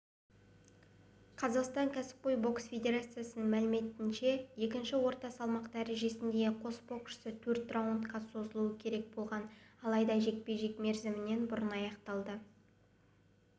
қазақстан кәсіпқой бокс федерациясының мәліметінше екінші орта салмақ дәрежесіндегі қос боксшы төрт раундқа созылуы керек болған алайда жекпе-жек мерзімінен бұрын аяқталды